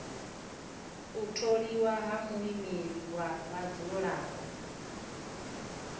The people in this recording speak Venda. u tholiwa ha muimeleli wa vhadzulapo